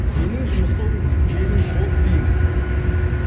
менің жұмысым менің хоббиім